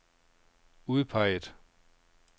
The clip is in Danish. udpeget